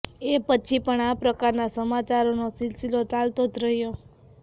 એ પછી પણ આ પ્રકારના સમાચારોનો સિલસિલો ચાલતો જ રહ્યો